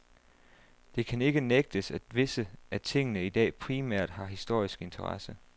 Det kan ikke nægtes at visse af tingene i dag primært har historisk interesse.